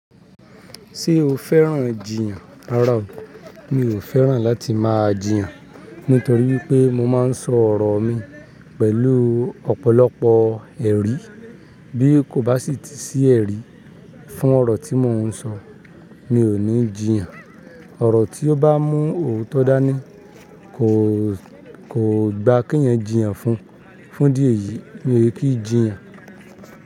Ṣé o fẹ́ràn jiyàn? Rárá o, mi ò fẹ́ràn láti máa jiyàn nítorí wipé mo máa ń sọ ọ̀rọ̀ mi pẹ̀lú ọ̀pọ̀lọpọ̀ ẹ̀rí. Bí kò bá sì ti sí ẹ̀rí fún ọ̀rọ̀ tí mò ń sọ, mi ò ní jiyàn. Ọ̀rọ̀ tí ó bá mú òótọ́ dání kò, kò gba kí eyan jiyàn fún. Fún ìdí eyìí, mi ò kí n jiyàn.